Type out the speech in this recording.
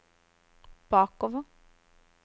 bakover